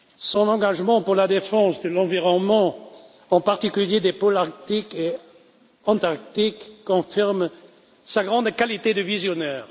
Son engagement pour la défense de l'environnement, en particulier dans l'Arctique et dans l'Antarctique, confirme sa grande qualité de visionnaire.